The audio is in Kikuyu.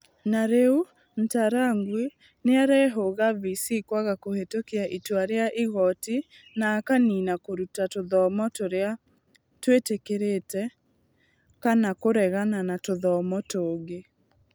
Na rĩu, Ntarangwi nĩ arehoga VC kwaga kũhĩtũkia itua rĩa igooti na akaniina kũruta tũthomo tũrĩa twĩtĩkĩrĩkĩte kana kũregana na tũthomo tũngĩ.